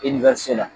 la